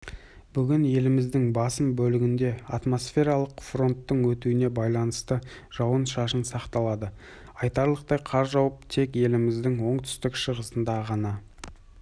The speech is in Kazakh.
бүгінеліміздің басым бөлігінде атмосфералық фронттың өтуіне байланысты жауын-шашын сақталады айтарлықтай қар жауып тек еліміздің оңтүстік-шығысында ғана